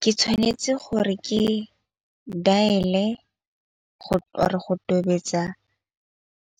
Ke tshwanetse gore ke dial-e go tobetsa